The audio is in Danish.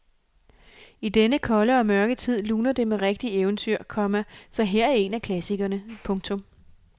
I denne kolde og mørke tid luner det med et rigtigt eventyr, komma så her er en af klassikerne. punktum